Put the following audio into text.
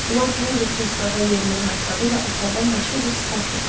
Lord Henri kresloda yerini rahatladı və əsərdən başqa bir sitat gətirdi.